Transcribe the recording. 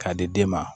K'a di den ma